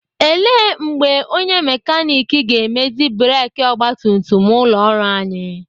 Ele mgbe onye mekanik ga-emezi breki ọgbatumtum ụlọ ọrụ anyị?